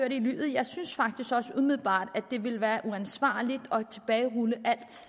jeg synes faktisk også umiddelbart at det ville være uansvarligt at tilbagerulle